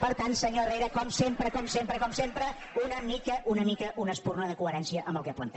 per tant senyor herrera com sempre com sempre com sempre una mica una espurna de coherència amb el que planteja